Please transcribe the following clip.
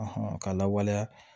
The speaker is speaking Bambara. k'a lawaleya